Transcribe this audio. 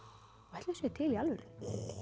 ætli þau séu til í alvörunni